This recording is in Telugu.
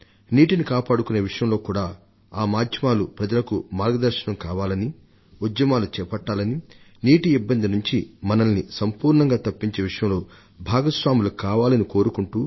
నీటిని కాపాడుకునే విషయంలో కూడా ఈ మాధ్యమాలు ప్రజలకు మార్గదర్శనం కావాలని ఉద్యమాలు చేపట్టాలని నీటి ఇబ్బంది నుంచి మనల్ని సంపూర్ణంగా తప్పించే విషయంలో భాగస్వాములు కావాలని కోరుకుంటూ